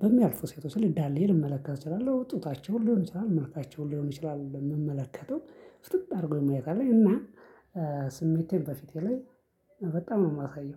በሚያልፉ ሴቶች ላይ ዳሌ ልመለከት እችላለሁ ጡታቸውን ሊሆን ይችላል መልካቸውን ሊሆን ይችላል እምመለከተው። ፍጥጥ አድርጎኝ ማየት አለኝ እና። ስሜቴን በፊቴ ላይ በጣም ነው የማሳየው